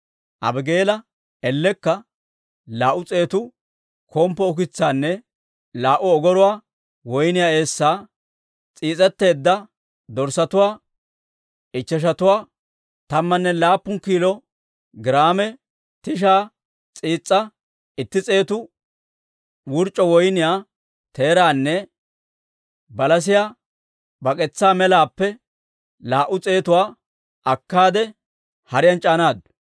Abigaala ellekka laa"u s'eetu komppo ukitsaanne laa"u ogoruwaa woyniyaa eessaa, s'iis'etteedda dorssatuwaa ichcheshatuwaa, tammanne laappun kiilo giraame tishaa s'iis'aa, itti s'eetu wurc'c'o woyniyaa teeraanne balasiyaa bak'etsaa melaappe laa"u s'eetuwaa akkaade, hariyaan c'aanaaddu.